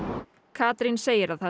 Katrín segir að